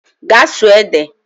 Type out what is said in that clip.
Gaa sụọ ede!